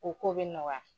O ko bɛ nɔgɔya